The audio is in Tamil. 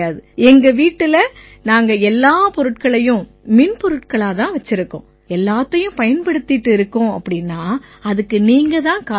எங்க வீட்டுல நாங்க எல்லா பொருட்களையும் மின்பொருட்களாத் தான் வச்சிருக்கோம் எல்லாத்தையும் பயன்படுத்திட்டு இருக்கோம்னா அதுக்கு நீங்க தான் காரணம்